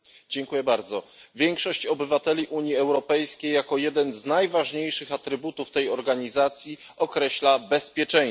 Pani Przewodnicząca! Większość obywateli Unii Europejskiej jako jeden z najważniejszych atrybutów tej organizacji określa bezpieczeństwo.